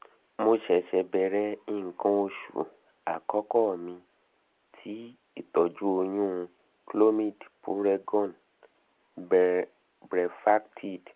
mo se se bẹrẹ ikan osu ikan osu akoko mi ti itọju um oyun - clomid puregon brevactid